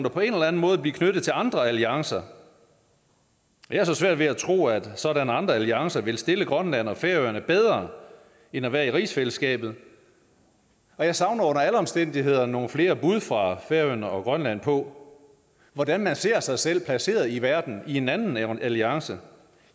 og på en eller anden måde blive knyttet til andre alliancer jeg har så svært ved at tro at sådanne andre alliancer vil stille grønland og færøerne bedre end at være i rigsfællesskabet og jeg savner under alle omstændigheder nogle flere bud fra færøerne og grønland på hvordan man ser sig selv placeret i verden i en anden alliance